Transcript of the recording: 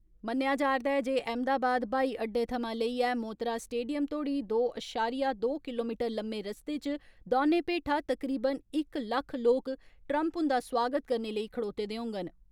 मन्नेआ जार'दा ऐ जे अहमदाबाद ब्हाई अड्डे थमां लेइयै मोतरा स्टेडियम तोड़ी दो अशारिया दो किलोमीटर लम्मे रस्ते च दौने पेठा तकरीबन इक लक्ख लोक, ट्रम्प हुन्दा स्वागत करने लेई खड़ोते दे होङन।